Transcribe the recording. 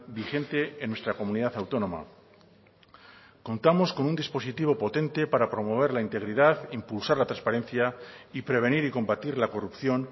vigente en nuestra comunidad autónoma contamos con un dispositivo potente para promover la integridad impulsar la transparencia y prevenir y combatir la corrupción